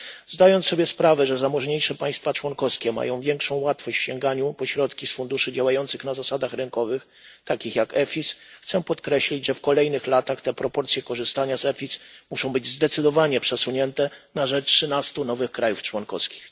Zdając sobie sprawę, że zamożniejsze państwa członkowskie mają większą łatwość w sięganiu po środki z funduszy działających na zasadach rynkowych takich jak EFIS, chcę podkreślić, że w kolejnych latach te proporcje korzystania z EFIS muszą być zdecydowanie przesunięte na rzecz trzynastu nowych krajów członkowskich.